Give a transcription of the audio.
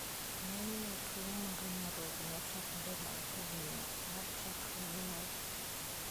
Ngeny' ne, tuwo mar nyarogno chakore bang ' higini 10 chakre nyuol .